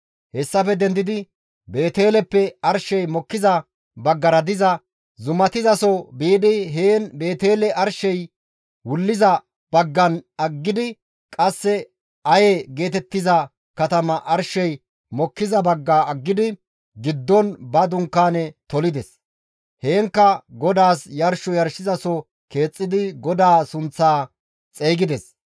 Hessafe dendidi Beeteleppe arshey mokkiza baggara diza zumatizaso biidi heen Beetele arshey wulliza baggan aggidi qasse Aye geetettiza katama arshey mokkiza bagga aggidi giddon ba dunkaane tolides; heenkka GODAAS yarsho yarshizaso keexxidi GODAA sunththaa xeygides.